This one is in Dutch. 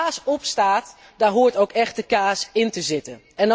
Waar kaas op staat, daar hoort ook echte kaas in te zitten.